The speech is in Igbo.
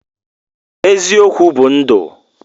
Eziokwu bu ndu.